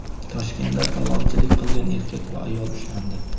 Toshkentda talonchilik qilgan erkak va ayol ushlandi.